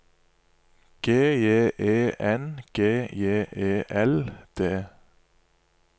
G J E N G J E L D